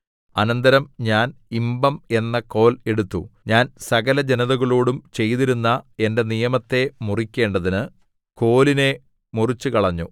അനന്തരം ഞാൻ ഇമ്പം എന്ന കോൽ എടുത്തു ഞാൻ സകലജനതകളോടും ചെയ്തിരുന്ന എന്റെ നിയമത്തെ മുറിക്കേണ്ടതിന് കോലിനെ മുറിച്ചുകളഞ്ഞു